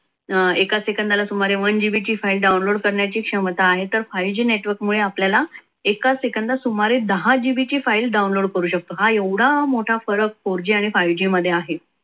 अं एका सेकंदात सुमारे one gb ची फाईल download करण्याची क्षमता आहे. तर five g मुळे आपल्याला एका सेकंदात सुमारे दहा gb ची file download करू शकतो हा एवढा मोठा फरक four g five g मध्ये आहे.